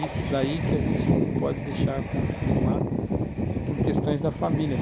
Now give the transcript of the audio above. Isso daí que a gente não pode deixar continuar por questões da família.